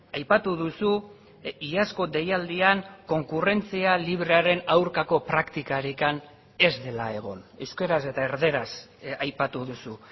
aipatu duzu iazko deialdian konkurrentzia librearen aurkako praktikarik ez dela egon euskaraz eta erdaraz aipatu duzu